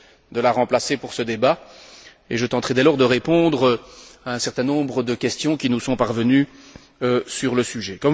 de la remplacer pour ce débat et je tenterai dès lors de répondre à un certain nombre de questions qui nous sont parvenues sur le sujet.